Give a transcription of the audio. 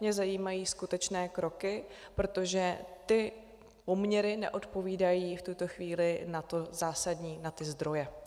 Mě zajímají skutečné kroky, protože ty poměry neodpovídají v tuto chvíli na to zásadní, na ty zdroje.